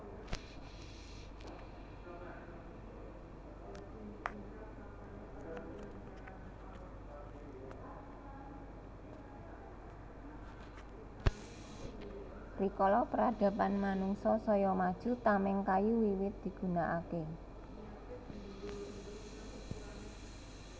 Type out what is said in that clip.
Rikala pradaban manungsa saya maju tameng kayu wiwit digunakake